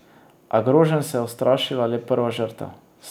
A groženj se je ustrašila le prva žrtev.